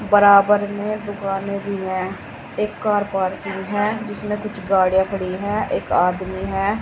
बराबर में दुकाने भी है एक कार पार्किंग है जिसमें कुछ गाड़ियां खड़ी है एक आदमी है।